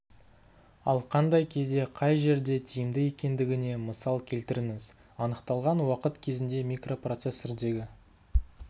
ал қандай кезде қай жерде тиімді екендігіне мысал келтіріңіз анықталған уақыт кезінде микропроцессордегі